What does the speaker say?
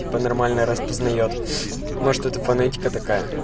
типо нормально распознает может это фонетика такая